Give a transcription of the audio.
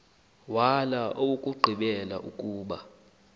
wala owokugqibela ukuba